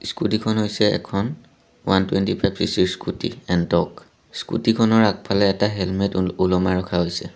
Scooty খন হৈছে এখন ৱান টুৱেণ্টি ফাইভ চি_চি ৰ স্কুটী এনটৰ্ক স্কুটী খনৰ আগফালে এটা হেলমেত ওলমাই ৰখা হৈছে।